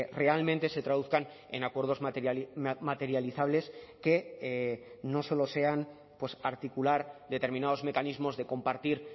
realmente se traduzcan en acuerdos materializables que no solo sean articular determinados mecanismos de compartir